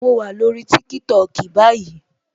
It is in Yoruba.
Mo wà lórí TikTok báyìí